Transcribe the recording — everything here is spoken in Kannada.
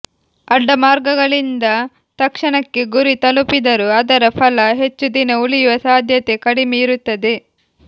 ಅಡ್ಡಮಾರ್ಗಗಳಿಂದ ತಕ್ಷಣಕ್ಕೆ ಗುರಿ ತಲುಪಿದರೂ ಅದರ ಫಲ ಹೆಚ್ಚು ದಿನ ಉಳಿಯುವ ಸಾಧ್ಯತೆ ಕಡಿಮೆ ಇರುತ್ತದೆ